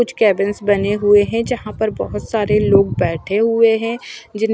कुछ कैबिन्स बने हुए हैं जहां पर बहुत सारे लोग बैठे हुए हैं जिन--